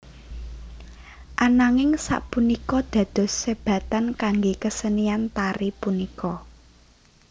Ananging sapunika dados sebatan kangge kesenian tari punika